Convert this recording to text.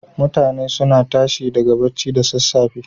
Mutane suna tashi daga bacci da sassafe.